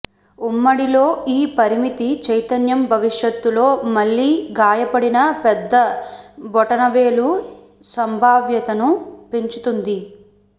ఉమ్మడి లో ఈ పరిమిత చైతన్యం భవిష్యత్తులో మళ్ళీ గాయపడిన పెద్ద బొటనవేలు సంభావ్యతను పెంచుతుంది